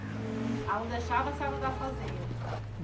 Ela não deixava a senhora andar sozinha?